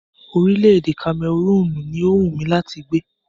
Orílẹ̀-èdè Kamẹrúùnù ni o wú mí láti gbé.